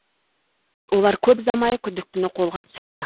олар көп ұзамай күдіктіні қолға түсірді